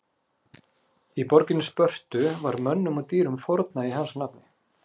Í borginni Spörtu var mönnum og dýrum fórnað í hans nafni.